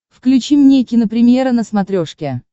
включи мне кинопремьера на смотрешке